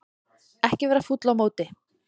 Ekki vera fúll á móti